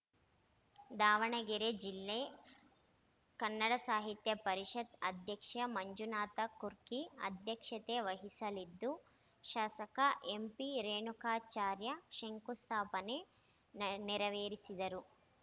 ದಾವಣಗೆರೆ ಜಿಲ್ಲಾ ಕಸಾಪ ಅದ್ಯಕ್ಷ ಮಂಜುನಾಥ ಕುರ್ಕಿ ಅಧ್ಯಕ್ಷತೆ ವಹಿಸಲಿದ್ದು ಶಾಸಕ ಎಂಪಿ ರೇಣುಕಾಚಾರ್ಯ ಶಂಕುಸ್ಥಾಪನೆ ನೆರವೇರಿಸುವರು